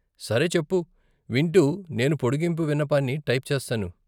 సరే చెప్పు, వింటూ నేను పోడిగింపు విన్నపాన్ని టైప్ చేస్తాను.